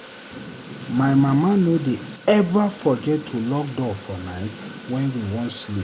My mama no dey eva forget to lock door for night wen we wan sleep.